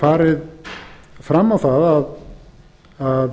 farið fram á það að